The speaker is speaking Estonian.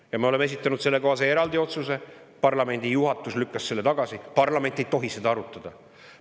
Ja me esitasime sellekohase eraldi otsuse, mille parlamendi juhatus lükkas tagasi parlament ei tohi seda arutada.